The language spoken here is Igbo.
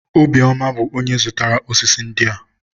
Obiọma bụ onye zụrụtara ósísí ndị a.